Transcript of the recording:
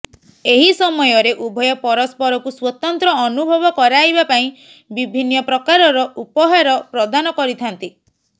ଏହି ସମୟରେ ଉଭୟ ପରସ୍ପରକୁ ସ୍ୱତନ୍ତ୍ର ଅନୁଭବ କରାଇବା ପାଇଁ ବିଭିନ୍ନ ପ୍ରକାରର ଉପହାର ପ୍ରଦାନ କରିଥାନ୍ତି